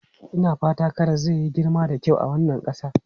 Ina fata karas zai yi girma da kyau a wannan ƙasa.